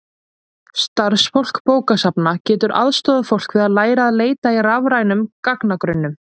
starfsfólk bókasafna getur aðstoðað fólk við að læra að leita í rafrænum gagnagrunnum